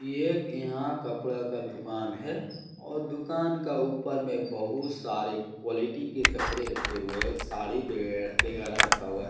एक यहां कपड़े का दुकान है और दुकान का ऊपर में बहुत सारे क्वालिटी के कपड़े रखे हुए है। साड़ी वैगेरा रखा हुआ है।